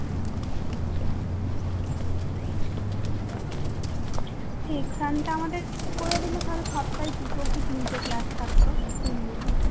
এই টা আমাদের করে দিলে আমাদের সপ্তায় দুটোকেই তিনটে ক্লাস থাকতো তিনদিনে